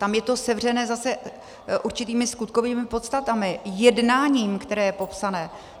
Tam je to sevřené zase určitými skutkovými podstatami, jednáním, které je popsané.